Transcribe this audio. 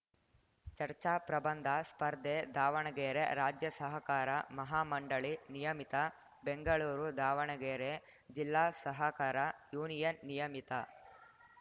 ಚರ್ಚಾ ಪ್ರಬಂಧ ಸ್ಪರ್ಧೆ ದಾವಣಗೆರೆ ರಾಜ್ಯ ಸಹಕಾರ ಮಹಾ ಮಂಡಳಿ ನಿಯಮಿತ ಬೆಂಗಳೂರು ದಾವಣಗೆರೆ ಜಿಲ್ಲಾ ಸಹಕಾರ ಯೂನಿಯನ್‌ ನಿಯಮಿತ